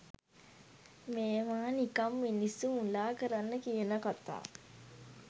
මේවා නිකන් මිනිස්සු මුලා කරන්න කියන කතා.